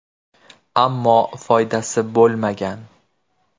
Ammo foydasi bo‘lmagan.